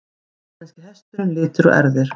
Íslenski hesturinn- litir og erfðir.